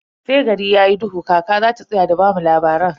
Sai gari yayi duhu kaka zata tsaya da bamu labaran.